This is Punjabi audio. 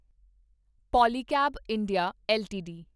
Polycab India LTD